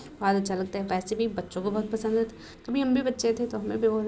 बहुत अच्छा लगता है। पैसे भी बच्चों को बहुत पसंद होते कभी हम भी बच्चे थे तो हमें भी --